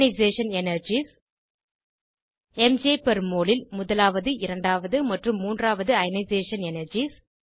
ionisation energies ம்ஜ் per mole ல் முதலாவது இரண்டாவது மற்றும் மூன்றாவது அயனைசேஷன் எனர்ஜீஸ்